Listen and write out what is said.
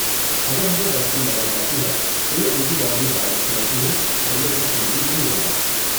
اگر ہمیں ویکسین لگائی جاتی ہے تو یہ اینٹی باڈیز وائرس سے لڑتی ہیں اور یہ اتنا سنگین نہیں ہوگا۔